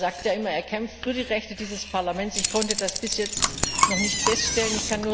Er sagt ja immer, er kämpft für die Rechte dieses Parlaments. Ich konnte das bis jetzt noch nicht feststellen.